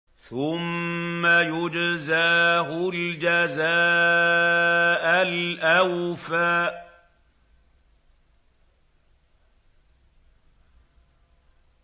ثُمَّ يُجْزَاهُ الْجَزَاءَ الْأَوْفَىٰ